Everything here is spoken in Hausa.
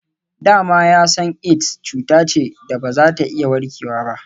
Da ma ya san Aids cuta ce da ba za a iya warkewa ba.